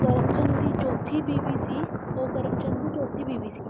ਕਰਮਚੰਦ ਦੀ ਚੌਥੀ ਬੀਵੀ ਸੀ ਉਹ ਕਰਮਚੰਦ ਦੀ ਚੌਥੀ ਬੀਵੀ ਸੀ